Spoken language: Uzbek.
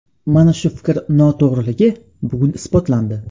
Mana shu fikr noto‘g‘riligi bugun isbotlandi.